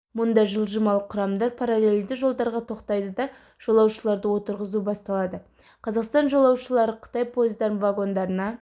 мұнда жылжымалы құрамдар параллельді жолдарға тоқтайды да жолаушыларды отырғызу басталады қазақстан жолаушылары қытай пойыздарының вагондарына